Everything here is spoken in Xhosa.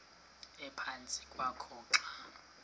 ephantsi kwakho xa